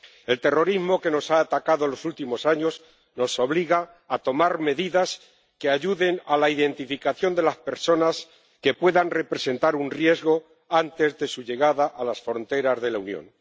El terrorismo que nos ha atacado en los últimos años nos obliga a tomar medidas que ayuden a la identificación de las personas que puedan representar un riesgo antes de su llegada a las fronteras de la Unión.